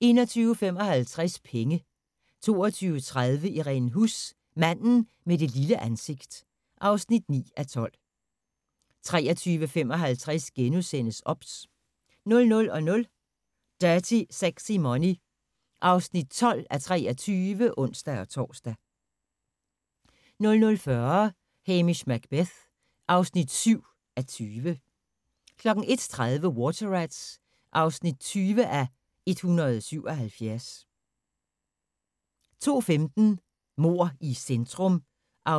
21:55: Penge 22:30: Irene Huss: Manden med det lille ansigt (9:12) 23:55: OBS * 00:00: Dirty Sexy Money (12:23)(ons-tor) 00:40: Hamish Macbeth (7:20) 01:30: Water Rats (20:177) 02:15: Mord i centrum (18:84)